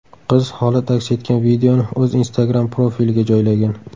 Qiz holat aks etgan videoni o‘z Instagram profiliga joylagan .